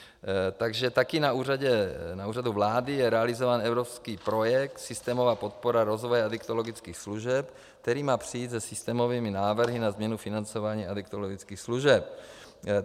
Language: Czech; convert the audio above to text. Takže taky na Úřadu vlády je realizován evropský projekt Systémová podpora rozvoje adiktologických služeb, který má přijít se systémovými návrhy na změnu financování adiktologických služeb.